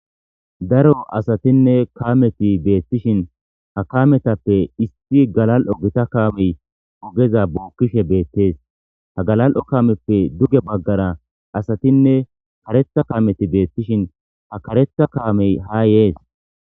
Daro asatine kameti betishin ha kametappe issi galal'o Gita kameyi ogeza bokishe betese ha gala'o kameppe duge bagara asatinne kareththa kameti betishin ha kareththa kamey ha yes.